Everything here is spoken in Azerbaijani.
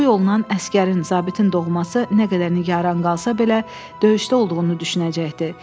Bu yolla əsgərin, zabitin doğması nə qədər yanı qalsa belə, döyüşdə olduğunu düşünəcəkdi.